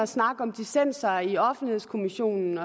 snakke om dissenser i offentlighedskommissionen